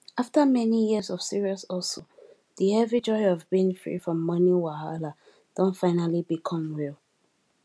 after many years of serious hustle the heavy joy of being free from money wahala don finally become real